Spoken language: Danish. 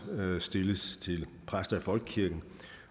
stilles til præster i folkekirken